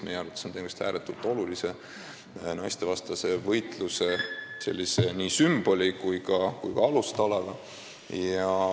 Meie arvates on tegemist ääretult olulise sümboli ja alustalaga võitluses naistevastase vägivalla vastu.